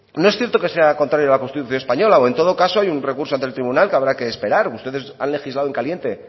no es cierto que sea contrario a la constitución española o en todo caso hay un recurso ante el tribunal que habrá que esperar ustedes han legislado en caliente